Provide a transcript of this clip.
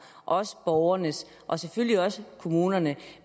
også borgernes og selvfølgelig også kommunernes